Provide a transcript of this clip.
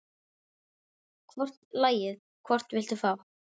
Hvort lagið, hvort viltu fá?